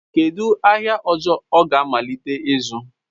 Kedu ahịa ihe ọzọ ọ ga-amalite ịzụ?